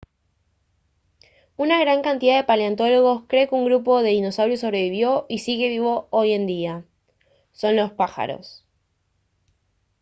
una gran cantidad de paleontólogos cree que un grupo de dinosaurios sobrevivió y sigue vivo hoy en día son los pájaros